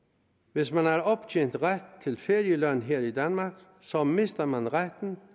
hvis man har optjent ret til ferieløn her i danmark så mister man retten